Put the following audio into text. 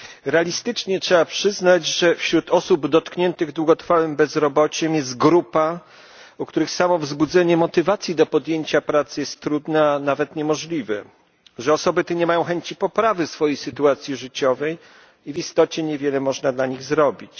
Realistycznie trzeba przyznać, że wśród osób dotkniętych długotrwałym bezrobociem jest grupa, dla której samo wzbudzenie motywacji do podjęcia pracy jest trudne, a nawet niemożliwe, że osoby te nie mają chęci poprawy swojej sytuacji życiowej i w istocie niewiele można dla nich zrobić.